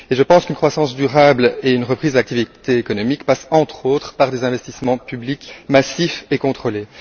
Je pense qu'une croissance durable et qu'une reprise de l'activité économique passent, entre autres, par des investissements publics massifs et contrôlés.